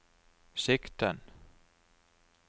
sikten